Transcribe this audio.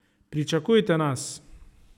Pričakujte nas.